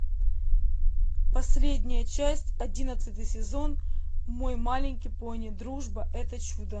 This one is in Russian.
последняя часть одиннадцатый сезон мой маленький пони дружба это чудо